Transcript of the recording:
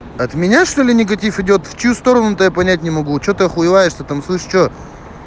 от меня что ли негатив идёт в чью сторону то я понять не могу что-то охуеваешь там слышишь что